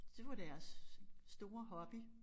Det var deres store hobby